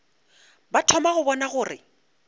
ba thoma go bona gore